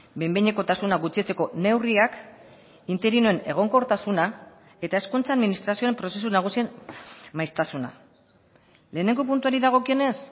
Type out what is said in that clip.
behin behinekotasuna gutxitzeko neurriak interinoen egonkortasuna eta hezkuntza administrazioen prozesu nagusien maiztasuna lehenengo puntuari dagokionez